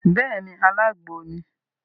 Béèni, alágbo ni